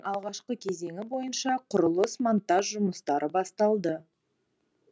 алғашқы кезеңі бойынша құрылыс монтаж жұмыстары басталды